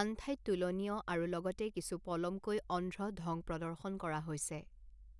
আন ঠাইত তুলনীয় আৰু লগতে কিছু পলমকৈ অন্ধ্ৰ ঢং প্ৰদৰ্শন কৰা হৈছে।